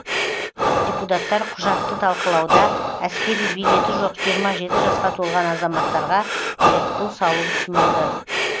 депутаттар құжатты талқылауда әскери билеті жоқ жиырма жеті жасқа толған азаматтарға айыппұл салу ұсынылды